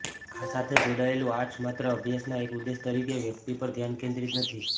આ સાથે જોડાયેલું આર્ટ્સ માત્ર અભ્યાસના એક ઉદ્દેશ તરીકે વ્યક્તિ પર ધ્યાન કેન્દ્રિત નથી